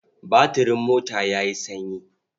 Batirin mota ya yi sanyi.